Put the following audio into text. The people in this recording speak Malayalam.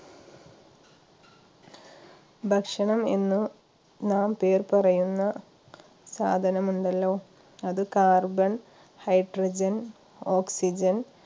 ഭക്ഷണം എന്ന് നാം പേർ പറയുന്ന സാധനമുണ്ടല്ലൊ അത് carbonhydrogenoxygen